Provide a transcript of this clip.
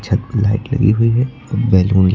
light लगी हुई है और बैलून --